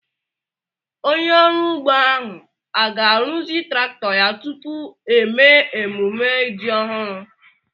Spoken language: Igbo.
Onye ọrụ ugbo ahu a ga-arụzi traktọ ya tupu émé emumme ji ọhụrụ?